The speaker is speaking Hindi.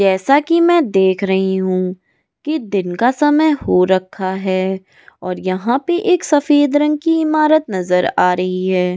जैसा कि मैं देख रही हूं कि दिन का समय हो रखा है और यहां पर एक सफेद रंग की इमारत नजर आ रही है ।